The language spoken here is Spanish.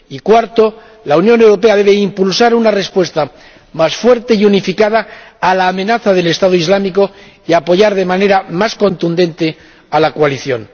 y cuarto, la Unión Europea debe impulsar una respuesta más fuerte y unificada a la amenaza del Estado Islámico, y apoyar de manera más contundente a la coalición.